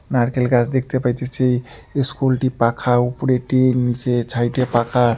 নারকেল গাছ দেখতে পাইতেসি ইস্কুলটি -টি পাখা উপরে টিন নীচে ছাইডে -এ পাখা ।